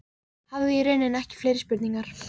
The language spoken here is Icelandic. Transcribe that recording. Hafði í rauninni ekki fleiri spurningar.